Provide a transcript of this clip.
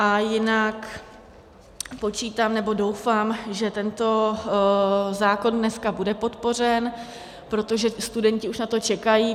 A jinak počítám, nebo doufám, že tento zákon dneska bude podpořen, protože studenti už na to čekají.